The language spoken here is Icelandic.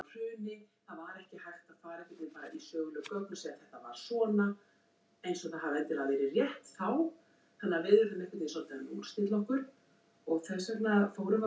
Það er undir mér komið er það ekki?